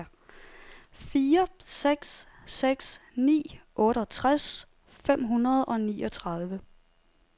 fire seks seks ni otteogtres fem hundrede og niogtredive